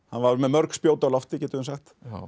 var með mörg spjót á lofti getum við sagt